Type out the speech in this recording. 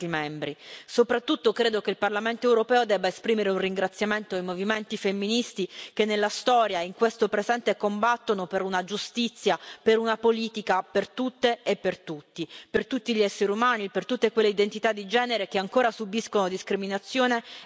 Soprattutto credo che il Parlamento europeo debba esprimere un ringraziamento ai movimenti femministi che, nella storia e in questo presente, combattono per una giustizia e per una politica per tutte e per tutti, per tutti gli esseri umani, per tutte quelle identità di genere che ancora subiscono discriminazione e violenze.